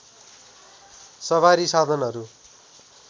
सवारी साधनहरू